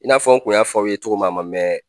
I n'a fɔ n kun y'a fɔ aw ye cogo min a man mɛn.